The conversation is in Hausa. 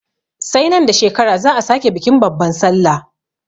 Sai nan da shekara za'a sake bikin babban sallah.